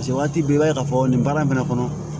waati bɛɛ i b'a ye k'a fɔ nin baara in fɛnɛ kɔnɔ